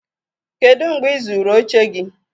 kedu mgbe ị zụrụ oche gị?